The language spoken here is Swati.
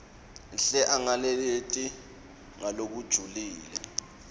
hle angalaleli ngalokujulile